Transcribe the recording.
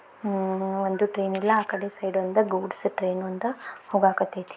ಅಹ್ ಒಂದು ಟ್ರೈನ್ ಇಲ್ಲಾ ಆಕಡೆ ಸೈಡ್ ಒಂದ ಗೂಡ್ಸ್ ಟ್ರೈನ್ ಒಂದ ಹೋಗಕತೈತಿ.